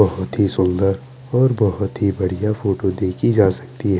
बहुत ही सुंदर और बहुत ही बढ़िया फोटो देखी जा सकती है।